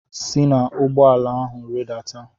si na ụgbọ ala ahụ rịdata!